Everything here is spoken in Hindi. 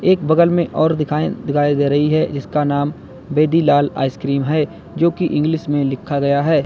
एक बगल में और दिखाएं दिखाई दे रही है इसका नाम वेदीलाला आइसक्रीम है जो की इंग्लिश में लिखा गया है।